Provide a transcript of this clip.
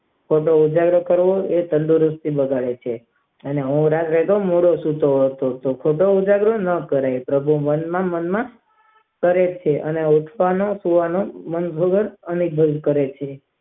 તેનો ઉધાર કરવો તે જાણે છે અને રાતે ખોટો ઉજાગરો ન કરવો પ્રભુ મન માં મન માં કહે છે અને કહે છે.